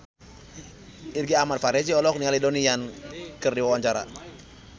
Irgi Ahmad Fahrezi olohok ningali Donnie Yan keur diwawancara